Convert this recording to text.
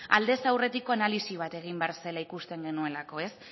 aldez aurretiko analisi bat egin behar zela ikusten genuelako